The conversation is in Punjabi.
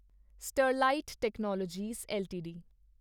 Sterlite technologies LTD